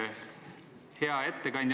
Hea ettekandja!